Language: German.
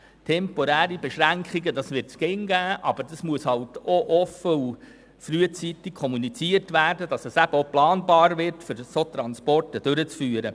Temporäre Beschränkungen wird es immer geben, aber diese müssen offen und frühzeitig kommuniziert werden, damit die Durchführung der Schwertransporte planbar wird.